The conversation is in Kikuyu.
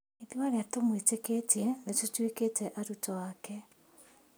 Naithuĩ arĩa tũmũĩtĩkĩtie nĩtũtuĩkĩte arutwo ake